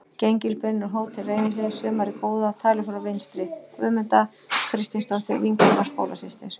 Gengilbeinur á Hótel Reynihlíð sumarið góða, talið frá vinstri: Guðmunda Kristinsdóttir, vinkona og skólasystir